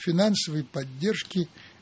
финансовой поддержки